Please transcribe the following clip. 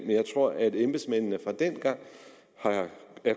jeg tror at embedsmændene dengang